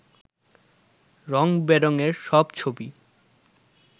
রঙ বেরঙের সব ছবি